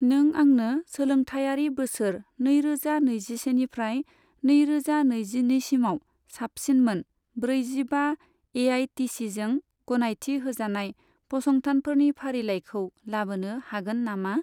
नों आंनो सोलोंथायारि बोसोर नैरोजा नैजिसेनिफ्राय नैरोजा नैजिनैसिमाव साबसिन मोन ब्रैजिबा एआइसिटिइजों गनायथि होजानाय फसंथानफोरनि फारिलाइखौ लाबोनो हागोन नामा ?